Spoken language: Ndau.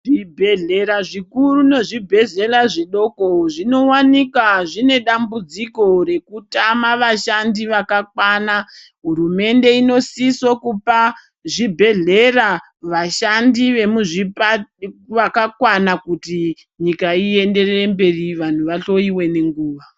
Zvibhedhlera zvikuru nezvibhedhlera zvidoko zvinovanika zvine dambudziko rekutama vashandi vakakwana. Hurumende inosiso kupa zvibhedhlera vachandi vemuzvipatara vakakwana kuti nyika ienderere mberi vantu vahloiwe nenguva.